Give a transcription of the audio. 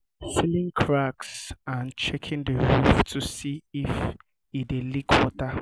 sealing cracks and checking the roof to see if e dey leak water